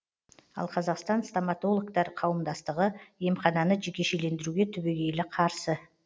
ал қазақстан стоматологтар қауымдастығы емхананы жекешелендіруге түбегейлі қарсы